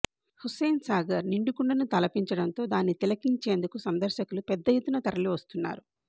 హుస్సేన్ సాగర్ నిండుకుండను తలపించడంతో దాన్ని తిలకించేందుకు సందర్శకులు పెద్ద ఎత్తున తరలివస్తున్నారు